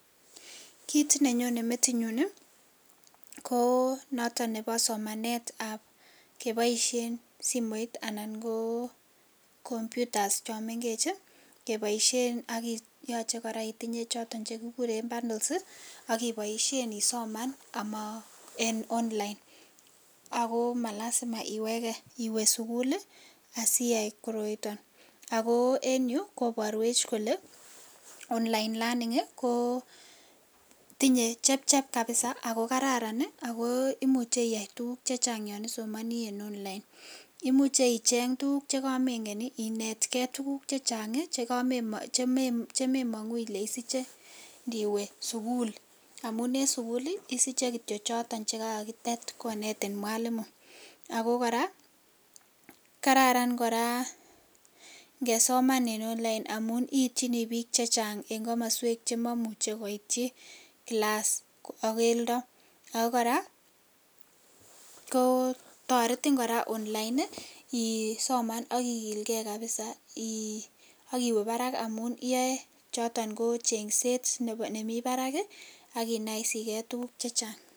Kiit ne nyone metinyun ii, ko noton nebo somanetab keboisien simoit anan ko computers cho mengech ii, keboisien ak yoche kora itinye choton che kikuren bundles ii, ak iboisien isoman ama en online, ako ma lazima iweke iwe sukul ii asiyai koroiton, ako en yu koborwech kole online learning ii ko tinye chepchep kabisa ako kararan ii ako imuche iyai tukuk che chang yon isomoni en online, imuche icheng tukuk che kamengen ii inetkei tukuk che chang ii chememongu ile isiche ngiwe sukul, amun en sukul ii isiche kityo choton che kakitet konetin mwalimu, ako kora kararan kora ngesoman en online amun iityini piik che chang eng komoswek che mamuchi koityi class ak keldo, ako kora ko toretin kora online ii, isoman ak ikilgei kabisa ii akiwe barak amun iyoe choton ko chengset nemi barak ii ak inoisikei tukuk che chang.